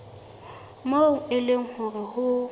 moo e leng hore ho